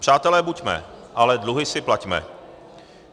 Přátelé buďme, ale dluhy si plaťme.